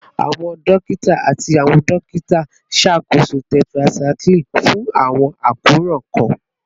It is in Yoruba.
Awọn dokita ati awọn dokita nṣakoso tetracycline fun awọn akoran kan